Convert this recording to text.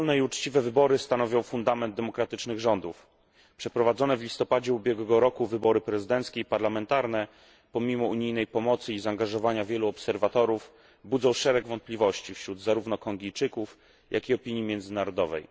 Wolne i uczciwe wybory stanowią fundament demokratycznych rządów. Przeprowadzone w listopadzie ubiegłego roku wybory prezydenckie i parlamentarne, pomimo unijnej pomocy i zaangażowania wielu obserwatorów, budzą szereg wątpliwości wśród zarówno Kongijczyków, jak i opinii międzynarodowej.